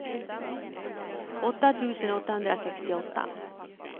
åtta tusen åttahundrasextioåtta